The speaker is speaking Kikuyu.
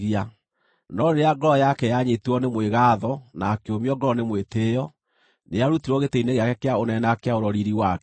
No rĩrĩa ngoro yake yanyiitirwo nĩ mwĩgaatho na akĩũmio ngoro nĩ mwĩtĩĩo, nĩarutirwo gĩtĩ-inĩ gĩake kĩa ũnene na akĩaũrwo riiri wake.